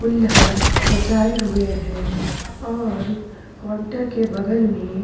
कुल्हड़ सजाये हुए है और काउंटर के बगल में --